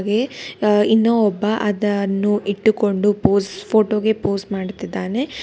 ಹಾಗೆ ಆ ಇನ್ನು ಒಬ್ಬ ಅದನ್ನು ಇಟ್ಟುಕೊಂಡು ಪೋಸ್ ಫೋಟೋ ಗೆ ಪೋಸ್ ಮಾಡುತ್ತಿದ್ದಾನೆ. ಆ--